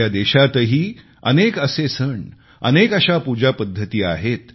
आपल्या देशातही अनेक असे सण अनेक अशा पूजापद्धती आहेत